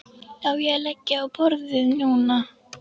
Á ég að leggja á borðið núna?